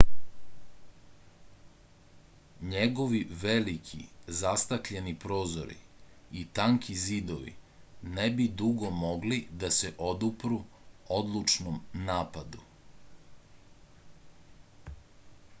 njegovi veliki zastakljeni prozori i tanki zidovi ne bi dugo mogli da se odupru odlučnom napadu